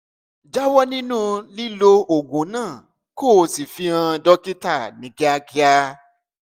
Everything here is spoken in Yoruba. jáwọ́ nínú lílo oògùn náà kó o sì fi hàn dókítà ní kíákíá